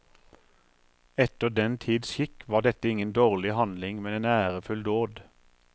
Etter den tids skikk var dette ingen dårlig handling, men en ærefull dåd.